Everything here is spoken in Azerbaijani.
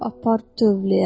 Apar tövləyə.